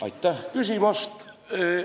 Aitäh küsimast!